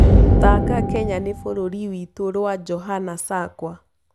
thaka Kenya ni bururi witu rwa johana sakwa